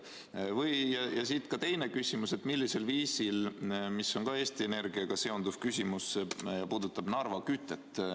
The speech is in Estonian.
Ja siit teine küsimus, see on samuti Eesti Energiaga seotud ja puudutab Narva kütet.